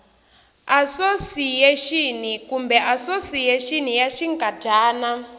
asosiyexini kumbe asosiyexini ya xinkadyana